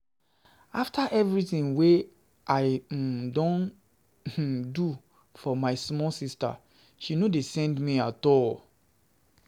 After everytin wey I um don um do for my small sista she no dey send me at all. um